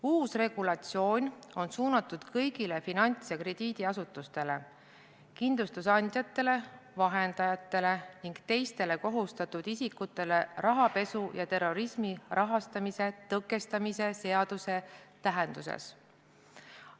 Uus regulatsioon on suunatud kõigile finants- ja krediidiasutustele, kindlustusandjatele, -vahendajatele ning teistele kohustatud isikutele rahapesu ja terrorismi rahastamise tõkestamise seaduse tähenduses.